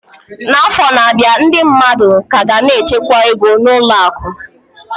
Afọ na-abịa, ndị mmadụ ka ga na-echekwa ego na ụlọ akụ.